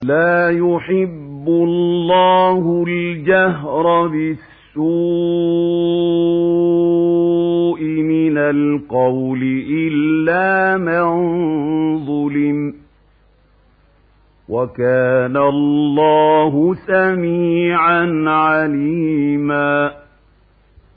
۞ لَّا يُحِبُّ اللَّهُ الْجَهْرَ بِالسُّوءِ مِنَ الْقَوْلِ إِلَّا مَن ظُلِمَ ۚ وَكَانَ اللَّهُ سَمِيعًا عَلِيمًا